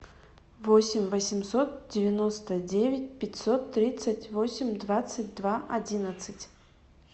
восемь восемьсот девяносто девять пятьсот тридцать восемь двадцать два одиннадцать